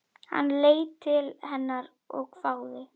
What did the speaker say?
Hann leit til hennar og hváði.